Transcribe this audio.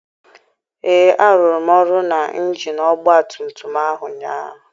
Ee, arụrụ m ọrụ na injin ọgba tum tum ahụ ụnyaahụ.